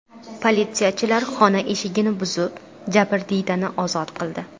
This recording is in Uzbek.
Politsiyachilar xona eshigini buzib, jabrdiydani ozod qildi.